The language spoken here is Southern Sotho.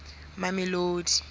mamelodi